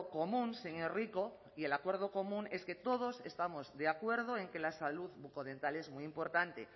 común señor rico y el acuerdo común es que todos estamos de acuerdo en que la salud bucodental es muy importante